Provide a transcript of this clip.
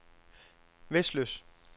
Vesløs